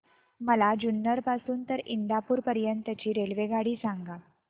मला जुन्नर पासून तर इंदापूर पर्यंत ची रेल्वेगाडी सांगा